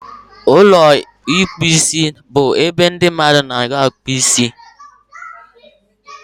Ụlọ ịkpụ isibụ ebe ndị mmadụ n'abịa akpụ isi